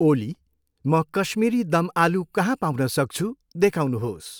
ओली, म कश्मिरी दमआलु कहाँ पाउन सक्छु, देखाउनुहोस्।